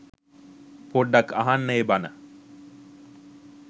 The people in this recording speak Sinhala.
පොඩ්ඩක් අහන්න ඒ බන